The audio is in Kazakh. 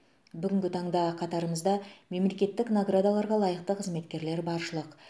бүгінгі таңда қатарымызда мемлекеттік наградаларға лайықты қызметкерлер баршылық